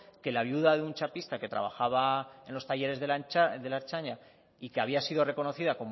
que la viuda de un chapista que trabajaba en los talleres de la ertzaintza y que había sido reconocida